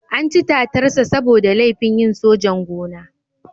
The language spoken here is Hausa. An ci tatarsa saboda laifin yin sojan-gona.